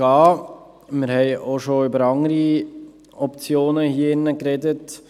Wir haben hier drin auch schon über andere Optionen gesprochen.